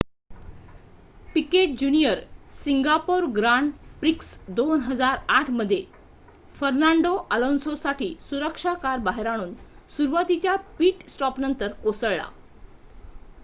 Picket junior Singapore Grand Prix 2008 मध्ये Fernando Alonso साठी सुरक्षा कार बाहेर आणून सुरवातीच्या पिट स्टॉप नंतर कोसळला